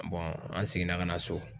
an seginna ka na so.